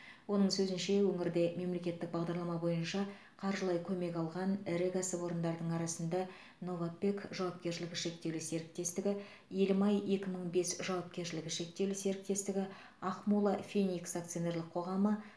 оның сөзінше өңірде мемлекеттік бағдарлама бойынша қаржылай көмек алған ірі кәсіпорындардың арасында новопэк жауапкершілігі шектеулі серіктестігі елім ай екі мың бес жауапкершілігі шектеулі серіктестігі ақмола феникс акционерлік қоғамы